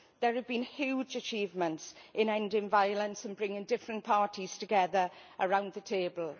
There have been huge achievements in ending violence and bringing different parties together around the table.